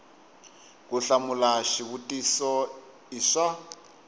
ku hlamula xivutiso i swa